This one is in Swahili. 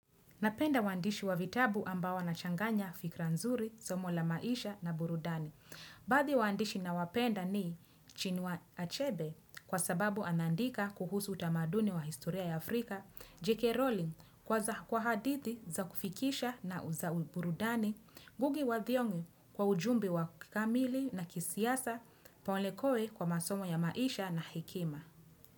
Napenda uandishi wa vitabu ambao wanachanganya fikra nzuri, somo la maisha na burudani. Baadhi ya waandishi nawapenda ni Chinua Achebe kwa sababu anaandika kuhusu utamaduni wa historia ya Afrika, J.K. Rowling kwa hadithi za kufikisha na za uburudani, Ngugi wa Thiong'e kwa ujumbe wa kikamili na kisiasa, Paul Lekoe kwa masomo ya maisha na hekima.